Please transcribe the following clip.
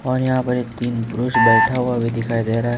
और यहां पर एक तीन पुरुष बैठा हुआ भी दिखाई दे रहा है।